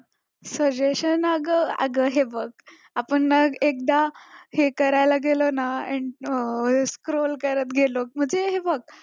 suggestion अग अगं हे बघ आपण मग एकदा हे करायला गेलं ना scroll करत गेलो म्हणजे हे बघ